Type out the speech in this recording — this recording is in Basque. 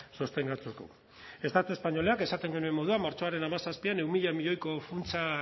sostengatzeko estatu espainolak esaten genuen moduan martxoaren hamazazpian ehun mila milioiko funtsa